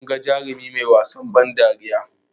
Munga jarumi mai wasan ban dariya